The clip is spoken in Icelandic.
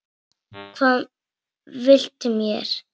Hvað viltu mér?